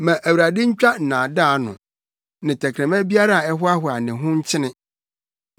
Ma Awurade ntwa nnaadaa ano ne tɛkrɛma biara a ɛhoahoa ne ho nkyene;